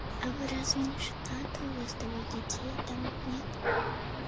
а вы разве не женаты у вас двое детей там нет